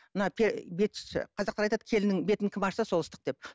мына қазақтар айтады келіннің бетін кем ашса сол ыстық деп